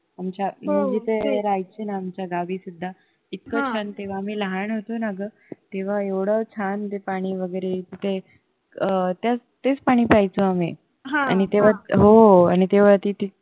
आमच्या मी जिथे राहायचे न आमच्या गावी सुद्धा इतकं छान तेव्हा आम्ही लहान होतो ना ग तेव्हा एवढं छान ते पाणी वगैरे अं तेच पाणी प्यायचो आम्ही आणि तेव्हा हो आणि तेव्हा तिथे